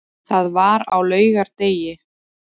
Það var á laugardegi.